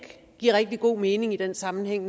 give rigtig god mening i den sammenhæng